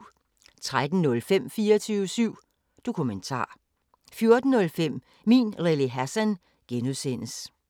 13:05: 24syv Dokumentar 14:05: Min Lille Hassan (G)